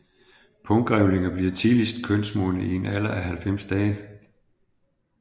Punggrævlinger bliver tidligst kønsmodne i en alder af 90 dage